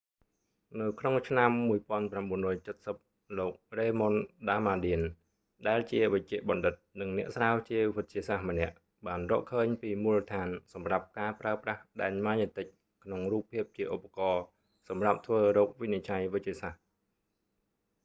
នៅក្នុងឆ្នាំ 1970 លោក raymond damadian រ៉េម៉ុន ដាមាឌៀន ដែលជាវេជ្ជបណ្ឌិត និងអ្នកស្រាវជ្រាវវិទ្យាសាស្ត្រម្នាក់បានរកឃើញពីមូលដ្ឋានសម្រាប់ការប្រើប្រាស់ដែនម៉ាញេទិកក្នុងរូបភាពជាឧបករណ៍សម្រាប់ធ្វើរោគវិនិច្ឆ័យវេជ្ជសាស្ត្រ